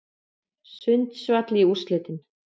Sundsvall í úrslitin